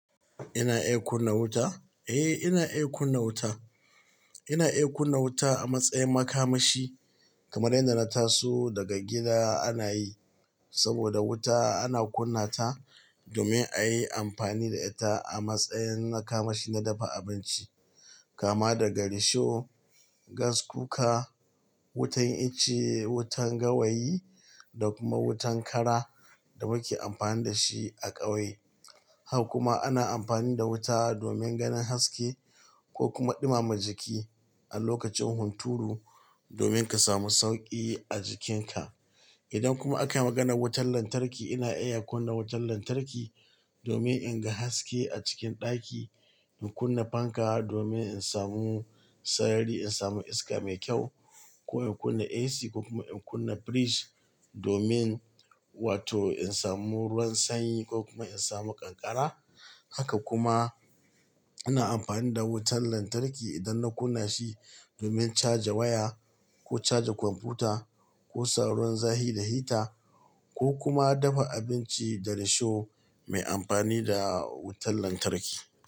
Ina iya kunna wuta? Eh, ina iya kunna wuta. Ina iya kunna wuta a matsayin makamashi kamar yadda na taso daga gida ana yi. Saboda wuta ana kunna ta domin a yi amfani da ita a matsayin na kamashi na dafa abinci, kama daga risho, gas cooker, wutan icce, wutan gawayi da kuma wutan kara da muke amfani da shi a ƙauye. Haka kuma ana amfani da wuta domin ganin haske ko kuma ɗumama jiki a lokacin hunturu domin ka samu sauƙi a jikinka. Idan kuma akayi maganar wutan lantarki, ina iya kunna wutan lantarki domin in ga haske a cikin ɗaki, in kunna fanka domin in samu sayari, in samu iska mai kyau ko in kunna AC ko kuma in kunna fridge domin wato in samu ruwan sanyi ko kuma in samu ƙanƙara. Haka kuma ina amfani da wutan lantarki idan na kuna shi domin caja waya ko caja kwamfuta ko sa ruwan zafi da hita ko kuma dafa abinci da risho mai amfani da wutan lantarki.